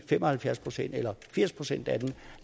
fem og halvfjerds procent eller firs procent af dem